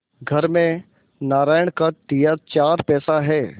घर में नारायण का दिया चार पैसा है